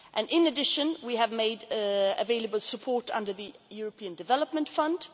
cooperation. In addition, we have made available support under the European Development